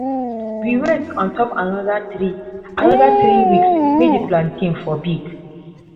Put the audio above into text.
we wait on top another three another three weeks may the plantain for big